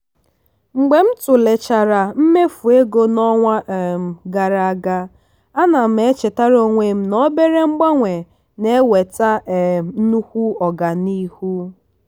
mgbe m tụlechara mmefu ego n'ọnwa um gara aga a na m echetara onwe m na obere mgbanwe na-eweta um nnukwu ọganihu.